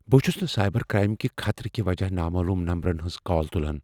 بہٕ چھس نہٕ سائبر کرائم کہ خطرٕ کِہ وجہہ نامعلوم نمبرن ہنز کال تلان۔